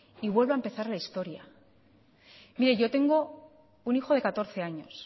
y vuelve a empezar la historia mire yo tengo un hijo de catorce años